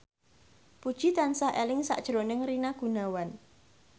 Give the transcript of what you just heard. Puji tansah eling sakjroning Rina Gunawan